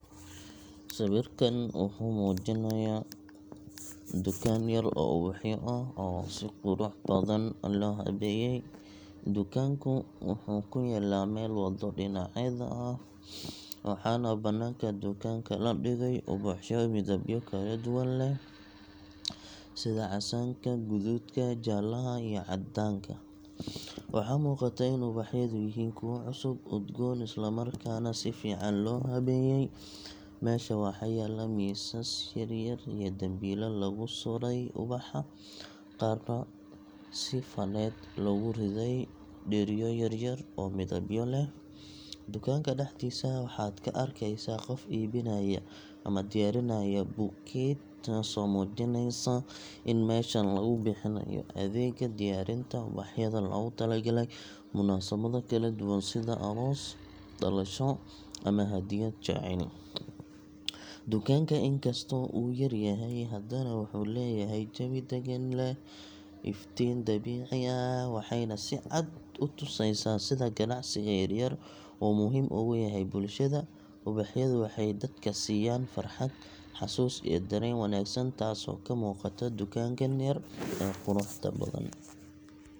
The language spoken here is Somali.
Sawirkan wuxuu muujinayaa dukaan yar oo ubaxyo ah oo si qurux badan loo habeeyey. Dukaanku wuxuu ku yaallaa meel waddo dhinaceeda ah, waxaana bannaanka dukaanka la dhigay ubaxyo midabyo kala duwan leh, sida casaanka, guduudka, jaalaha iyo caddaanka. Waxaa muuqata in ubaxyadu yihiin kuwo cusub, udgoon, isla markaana si fiican loo habeeyey. Meesha waxaa yaalla miisas yar yar iyo dambiilo lagu sudhay ubax, qaarna si faneed loogu riday dheriyo yaryar oo midabyo leh. Dukaanka dhexdiisa waxaad ka arkeysaa qof iibinaya ama diyaarinaya bouquet, taasoo muujinaysa in meeshan lagu bixinayo adeegga diyaarinta ubaxyada loogu talagalay munaasabado kala duwan sida aroos, dhalasho, ama hadiyad jacayl. Dukaanka, inkastoo uu yar yahay, haddana wuxuu leeyahay jawi degan, leh iftiin dabiici ah, waxayna si cad u tusaysaa sida ganacsiga yaryar uu muhiim ugu yahay bulshada. Ubaxyadu waxay dadka siiyaan farxad, xasuus iyo dareen wanaagsan taasoo ka muuqata dukaankan yar ee quruxda badan.